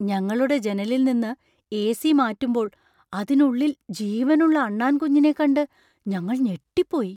ഞങ്ങളുടെ ജനലിൽ നിന്ന് എ.സി. മാറ്റുമ്പോള്‍ അതിനുള്ളിൽ ജീവനുള്ള അണ്ണാന്‍കുഞ്ഞിനെ കണ്ട് ഞങ്ങൾ ഞെട്ടിപ്പോയി.